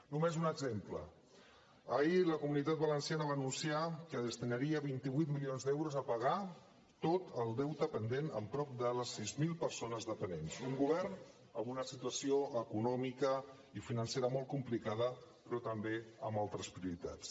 només un exemple ahir la comunitat valenciana va anunciar que destinaria vint vuit milions d’euros a pagar tot el deute pendent a prop de les sis mil persones dependents un govern amb una situació econòmica i financera molt complicada però també amb altres prioritats